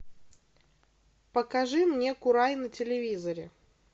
покажи мне курай на телевизоре